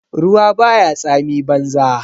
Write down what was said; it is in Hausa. Ruwa baya tsami banza.